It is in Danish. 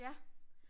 Ja